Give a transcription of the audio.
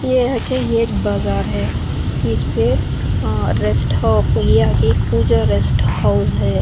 ये आके ये एक बाजार है इस पे अ रेस्ट रेस्ट हाउस है।